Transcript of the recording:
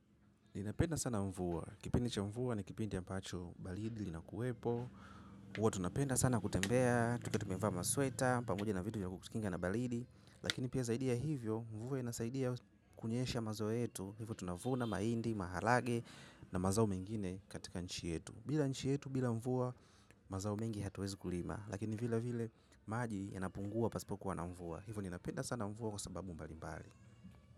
Ninapenda sana mvua, kipindi cha mvua na kipindi ambacho balidi linakuwepo huwa tunapenda sana kutembea, tukiwa tumevaa masweta, pamoja na vitu vya kutukinga na balidi. Lakini pia zaidi ya hivyo, mvua inasaidia kunyesha mazao yetu. Hivyo tunavuna, maindi, maharage na mazao mengine katika nchi yetu. Bila nchi yetu, bila mvua, mazao mengi hatuwezi kulima. Lakini vile vile maji yanapungua pasipokuwa na mvua. Hivyo ninapenda sana mvua kwa sababu mbali mbali.